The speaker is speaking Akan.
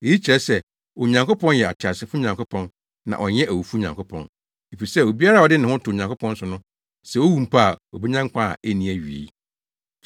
Eyi kyerɛ sɛ, Onyankopɔn yɛ ateasefo Nyankopɔn na ɔnyɛ awufo Nyankopɔn, efisɛ obiara a ɔde ne ho to Onyankopɔn so no, sɛ owu mpo a, obenya nkwa a enni awiei.”